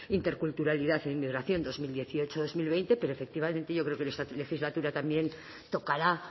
interculturalidad e inmigración dos mil dieciocho dos mil veinte pero efectivamente yo creo que en esta legislatura también tocará